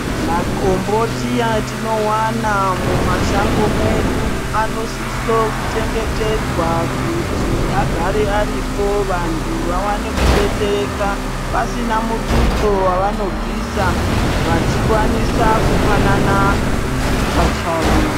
Makomboti atinovana mumashango mwedu anosiso kuchengetedzwa vantu vaone kudetsereka pasina mututso vavanobvisa vachikwanisa kupanana pachavo.